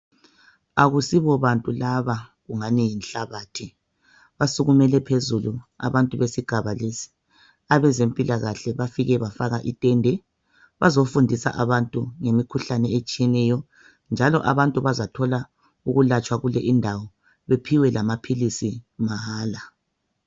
Akusibo bantu laba kungani yinhlabathi basukumele phezulu abantu besigaba lesi abeze mpilakahle bafike bafaka itende bazofundisa abantu ngemikhuhlane etshiyeneyo njalo abantu bazathola ukulatshwa kule indawo bathole lamaphilisi mahala .